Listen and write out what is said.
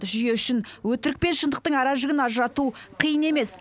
жүйе үшін өтірік пен шындықтың аражігін ажырату қиын емес